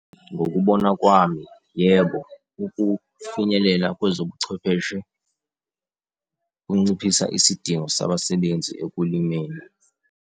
Ngokubona kwami, yebo, ukufinyelela kwezobuchwepheshe kunciphisa isidingo sabasebenzi ekulimeni.